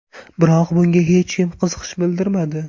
Biroq bunga hech kim qiziqish bildirmadi.